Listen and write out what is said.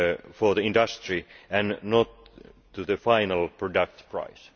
for the industry and not to the final product price.